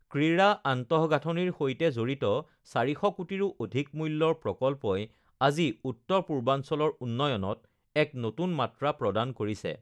ক্ৰীড়া আন্তঃগাঁথনিৰ সৈতে জড়িত ৪০০ কোটিৰো অধিক মূল্যৰ প্ৰকল্পই আজি উত্তৰ পূৰ্বাঞ্চলৰ উন্নয়নত এক নতুন মাত্ৰা প্ৰদান কৰিছে